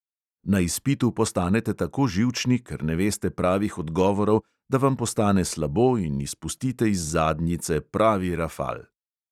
Na izpitu postanete tako živčni, ker ne veste pravih odgovorov, da vam postane slabo in izpustite iz zadnjice pravi rafal.